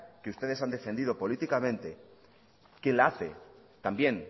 que ustedes han defendido políticamente quien la hace también